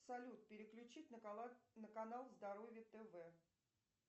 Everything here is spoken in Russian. салют переключить на канал здоровье тв